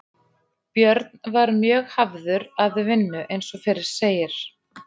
Björn var mjög hafður að vinnu eins og fyrr segir.